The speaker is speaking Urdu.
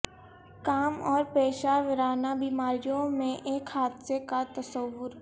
کام اور پیشہ ورانہ بیماریوں میں ایک حادثے کا تصور